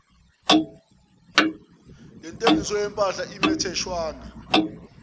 lentengiso yempahla imitheshwana